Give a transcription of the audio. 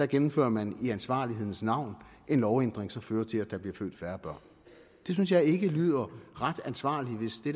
gennemfører man i ansvarlighedens navn en lovændring som fører til der bliver født færre børn det synes jeg ikke lyder ret ansvarligt hvis det